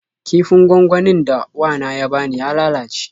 Kifin gwangwanin da wana ya bani ya lalace.